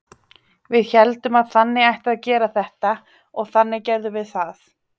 Við héldum að þannig ætti að gera þetta og þannig gerðum við það.